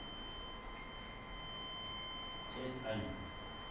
цяньань